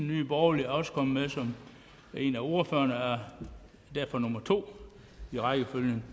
nye borgerlige er også kommet med som en af ordførerne og er derfor nummer to i rækkefølgen